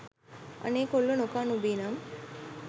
අනේ කොල්ලෝ නොකා නොබී නම්